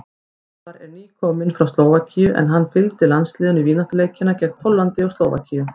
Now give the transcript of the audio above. Elvar er nýkominn frá Slóvakíu en hann fylgdi landsliðinu í vináttuleikina gegn Póllandi og Slóvakíu.